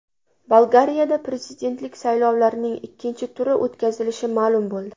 Bolgariyada prezidentlik saylovlarining ikkinchi turi o‘tkazilishi ma’lum bo‘ldi.